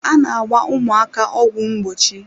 A na-agba ụmụaka ọgwụ ngbochi.